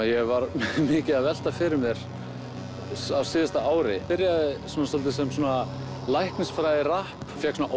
ég var mikið að velta fyrir mér á síðasta ári byrjaði svona svolítið sem læknisfræði rapp ég fékk svona